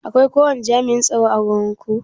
Akwai ko wani jam'iyyan tsaro ã wurin ku?